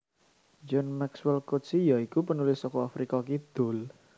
John Maxwell Coetzee ya iku penulis saka Afrika Kidul